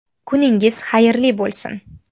Kuningiz xayrli bo‘lsin.